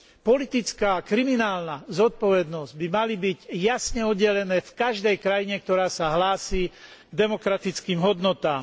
Politická a kriminálna zodpovednosť by mali byť jasne oddelené v každej krajine, ktorá sa hlási k demokratickým hodnotám.